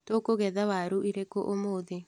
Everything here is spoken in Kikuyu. Tũkũgetha waru irĩkũ ũmũthĩ.